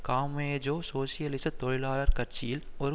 Camejo சோசியலிச தொழிலாளர் கட்சியில் ஒரு